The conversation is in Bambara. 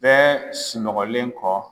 Bɛɛ sunɔgɔlen kɔ